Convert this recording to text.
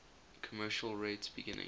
commercial rates beginning